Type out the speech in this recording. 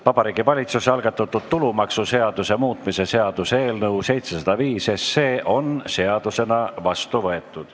Vabariigi Valitsuse algatatud tulumaksuseaduse muutmise seaduse eelnõu 705 on seadusena vastu võetud.